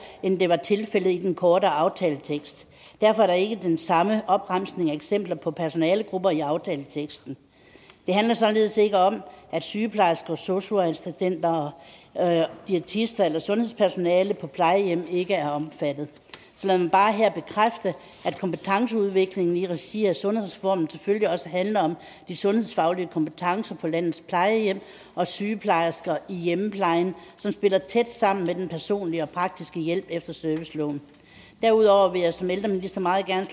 end det var tilfældet i den korte aftaletekst derfor er der ikke den samme opremsning af eksempler på personalegrupper i aftaleteksten det handler således ikke om at sygeplejersker og sosu assistenter diætister eller sundhedspersonale på plejehjem ikke er omfattet så lad mig bare her bekræfte at kompetenceudviklingen i regi af sundhedsreformen selvfølgelig også handler om de sundhedsfaglige kompetencer på landets plejehjem og sygeplejersker i hjemmeplejen som spiller tæt sammen med den personlige og praktiske hjælp efter serviceloven derudover vil jeg som ældreminister meget gerne